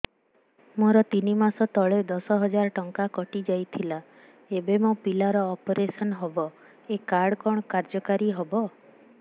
ମୋର ତିନି ମାସ ତଳେ ଦଶ ହଜାର ଟଙ୍କା କଟି ଯାଇଥିଲା ଏବେ ମୋ ପିଲା ର ଅପେରସନ ହବ ଏ କାର୍ଡ କଣ କାର୍ଯ୍ୟ କାରି ହବ